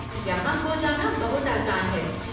यहाँ खो जाना बहुत आसान है।